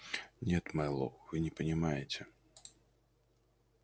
нет мэллоу вы не понимаете